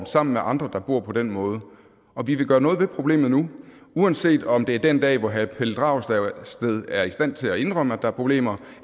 sammen med andre der bor på den måde og vi vil gøre noget ved problemet nu uanset om det er den dag hvor herre pelle dragsted er i stand til at indrømme at der er problemer